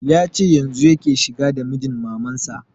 Ya ce yanzun yake shiga gida mijin maman sa